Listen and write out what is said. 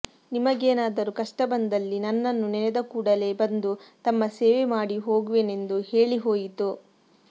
ನಿಮಗೇನಾದರೂ ಕಷ್ಟ ಬಂದಲ್ಲಿ ನನ್ನನ್ನು ನೆನೆದ ಕೂಡಲೇ ಬಂದು ತಮ್ಮ ಸೇವೆ ಮಾಡಿ ಹೋಗುವೆನೆಂದು ಹೇಳಿಹೋಯಿತು